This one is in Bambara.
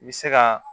I bɛ se ka